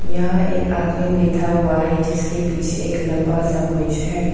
यहां एक आदमी बैठा हुआ है जिसके पीछे एक लंबा सा ब्रिज है।